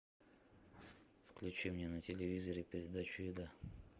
включи мне на телевизоре передачу еда